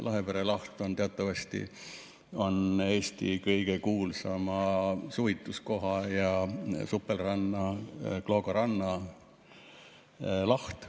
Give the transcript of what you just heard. Lahepere laht on teatavasti Eesti kõige kuulsama suvituskoha ja supelranna Kloogaranna laht.